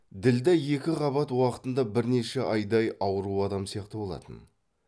ділдә екіқабат уақытында бірнеше айдай ауру адам сияқты болатын